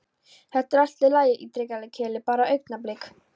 Þetta er allt í lagi, ítrekar Keli, bara augnablik.